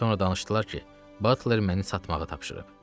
Sonra danışdılar ki, Butler məni satmağı tapşırıb.